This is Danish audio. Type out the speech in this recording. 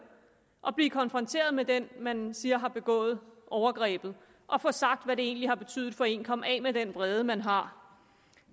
at blive konfronteret med den man siger har begået overgrebet og få sagt hvad det egentlig har betydet for en og komme af med den vrede man har